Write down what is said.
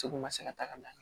Segu ma se ka taga